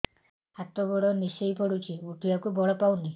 ହାତ ଗୋଡ ନିସେଇ ପଡୁଛି ଉଠିବାକୁ ବଳ ପାଉନି